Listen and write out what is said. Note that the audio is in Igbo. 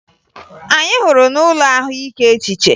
Anyị hụrụ ha n'ụlọ ahụike echiche